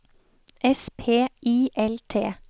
S P I L T